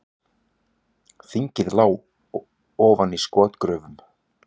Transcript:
Þingið lá ofan í skotgröfum